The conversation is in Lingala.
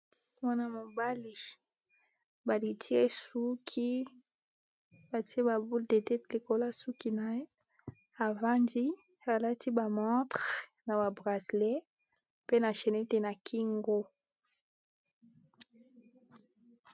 Elenge mobali afandi na kiti aza ko tala na se, akangisi suki ya maboko nasuka batiye mayaka. Alati na likolo langi ya pondu na se langi ya mosaka.